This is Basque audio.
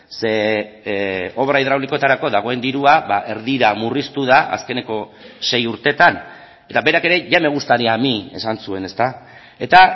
ze obra hidraulikoetarako dagoen dirua erdira murriztu da azkeneko sei urteetan eta berak ere ya me gustaría a mí esan zuen eta